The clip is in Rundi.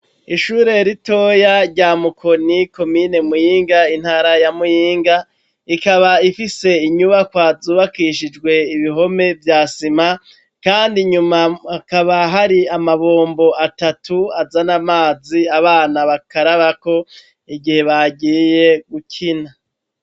ishure ritoya rya mukoni komine muyinga intara ya muyinga rikaba rifise inyubakwa zubakishijwe ibihome vy'isima kandi inyuma hakaba hari amabombo atatu azan'amazi abana bakarabako igihe bagiye gukina.